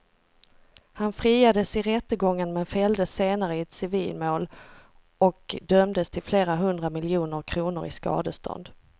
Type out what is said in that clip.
Han friades i rättegången men fälldes senare i ett civilmål och dömdes till flera hundra miljoner kronor i skadestånd.